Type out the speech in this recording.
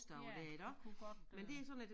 Ja det kunne godt øh